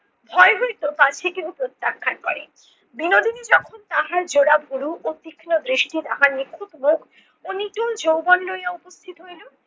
ভয় হইতো পাছে কেহ প্রত্যাখান করে। বিনোদিনী যখন তাহার জোড়া ভুরু ও তীক্ষ্ণ দৃষ্টি তাহার নিখুঁত মুখ ও নিটোল যৌবন লইয়া উপস্থিত হইল